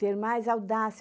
Ter mais audácia.